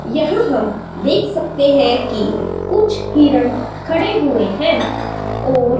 यहां हम देख सकते हैं कि कुछ हिरण खड़े हुए हैं और--